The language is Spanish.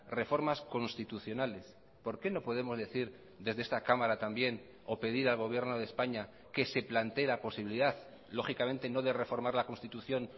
reformas constitucionales por qué no podemos decir desde esta cámara también o pedir al gobierno de españa que se plantee la posibilidad lógicamente no de reformar la constitución